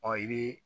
Ɔ i bɛ